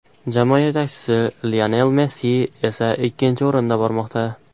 Jamoa yetakchisi Lionel Messi esa ikkinchi o‘rinda bormoqda.